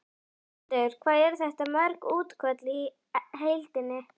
Höskuldur: Hvað eru þetta mörg útköll í heildina?